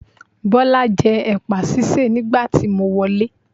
Bọ́lá ń jẹ́ ẹ̀pà sísè nígbà tí mo wọlé.